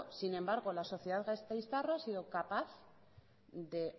sin embargo la sociedad gasteiztarra ha sido capaz de